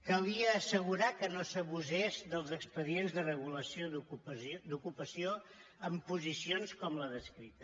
calia assegurar que no s’abusés dels expedients de regulació d’ocupació amb posicions com la descrita